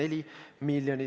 Andres Sutt, palun!